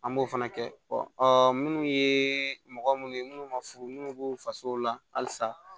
An b'o fana kɛ ɔ minnu ye mɔgɔ munnu ye munnu ma furu minnu b'u faso la halisa